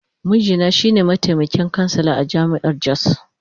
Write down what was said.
Mijina shi ne mataimakin kansila a jami’ar Jos.